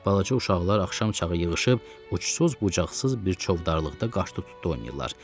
Balaca uşaqlar axşam çağı yığışıb, uçsuz-bucaqsız bir çovdarlıqda qaşdı-tutdu oynayırlar.